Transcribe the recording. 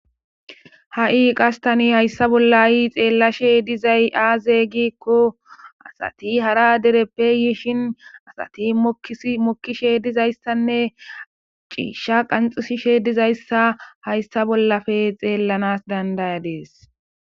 Ha7i qastani hayssa bolla yi xeellashe dizay aazey gikko asati hara dereppe yiishin asati mokkishe dizayssanne ciisha qanxusishe dizayssa hayssa bollafe xeellanas dandayadees